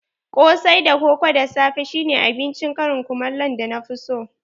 Kosai da koko da safe shine abincin karin kumallo da na fi so